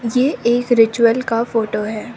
ये एक रिचुअल का फोटो है।